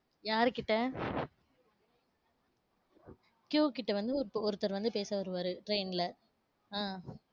யாருகிட்ட Q கிட்ட வந்து, இப்ப ஒருத்தர் வந்து பேச வருவாரு train ல அஹ்